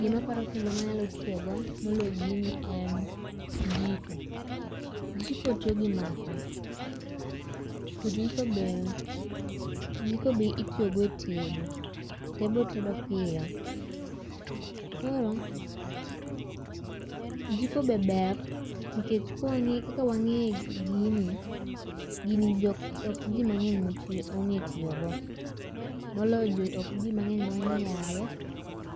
Gima aparo kendo ma anyalo tiyo go moloyo gini en jiko. Jiko tiyo gi maka. To jiko bende jiko be itiyo go e tedo. To enbe otedo piyo. Koro jiko be ber nikech kaka wang'e gini. Gin ok ji mang'eny mong'e tiyogo. Moloyo ok ji mang'eny mon'ge yawe.